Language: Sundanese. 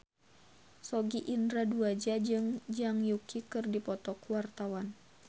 Sogi Indra Duaja jeung Zhang Yuqi keur dipoto ku wartawan